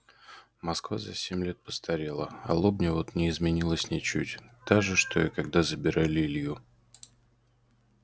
москва за семь лет постарела а лобня вот не изменилась ничуть та же что и когда забирали илью